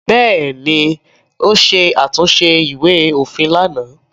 Bẹ́ẹ̀ ni, ó ṣe àtúnṣe ìwé-òfin lánàá.